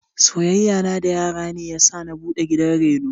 Soyayyan na da yara ne yasa na buɗe gidan reno.